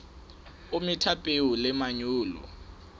o metha peo le manyolo